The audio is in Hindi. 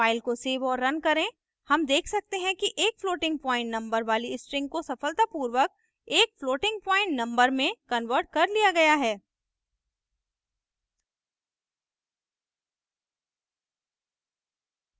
फ़ाइल को सेव और रन करें हम देख सकते हैं कि एक floating point number वाली string को सफलतापूर्वक एक floating point number में converted कर लिया गया है